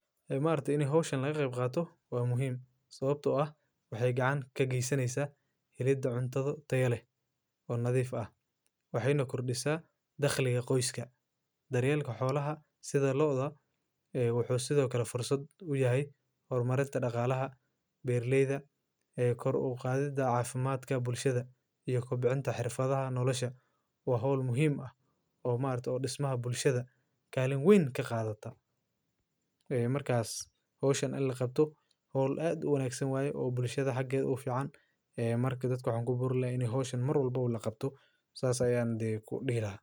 Maaragti ina howshan lagaqeyb qaato wa muhim, sawabto ah waxay gacan kageysaneysa helida cuntadha tayo leh oo nadhif ah waxeyna kordisa dakhliqa qoyska daryeelka xolaha sidha lo'da ee wuxu sidhokale fursad uyahay hormarinta daqalaha beeraleyda ee kor uqadhida caafimaadka bulshadha ee kubcinta xirfadhaha nolasha wa howl muhim ah oo maaragti dismaha bulshadha kalin wein kaqadhata ee markas howshan in laqabto howl aad uguwanagsan waye oo bulshadha hakedha u fican marka dadka waxan kuborini lahay inay howshan marwalbo laqabto sas ayan dihi lahay.